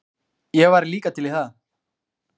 Ég væri líka til í það.